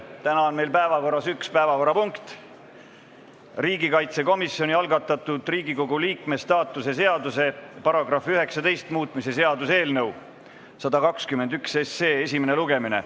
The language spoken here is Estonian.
Täna on meil üks päevakorrapunkt, riigikaitsekomisjoni algatatud Riigikogu liikme staatuse seaduse § 19 muutmise seaduse eelnõu 121 esimene lugemine.